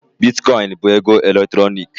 Bitkọịn bụ ego eletrọnịkị.